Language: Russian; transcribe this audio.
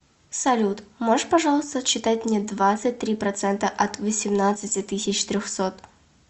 салют можешь пожалуйста отсчитать мне двадцать три процента от восемнадцати тысяч трехсот